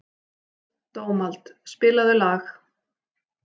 Dómald, spilaðu lag.